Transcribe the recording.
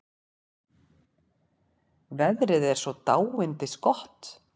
Veðrið er svo dáindisgott.